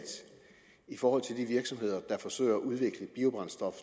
i forhold til de virksomheder der forsøger at udvikle biobrændstof